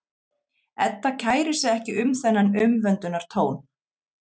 Edda kærir sig ekki um þennan umvöndunartón.